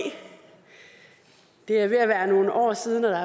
det er ved at være nogle år siden og